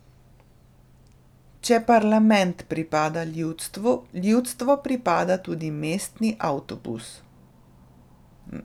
Če parlament pripada ljudstvu, ljudstvu pripada tudi mestni avtobus.